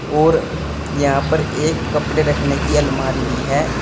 और यहां पर एक कपड़े रखने की अलमारी भी है।